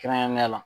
Kɛrɛnkɛrɛnnenya la